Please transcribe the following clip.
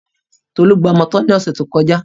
Tolú gbamọ tọ́ ní ọ̀sẹ̀ tó kọjá.